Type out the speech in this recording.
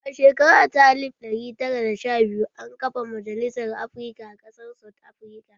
A shekara ta alif ɗari tara da sha biyu, an kafa Majalisar Afrika a ƙasar South Afrika